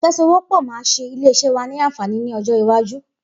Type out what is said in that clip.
Ifèsówọpọ̀ mà ṣé ilé iṣẹ wà ni ànfání ni ọjọ iwàjú